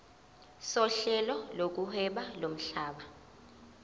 sohlelo lokuhweba lomhlaba